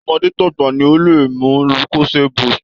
Tọmọdé tàgbà ni ó lè mu Lucosade boost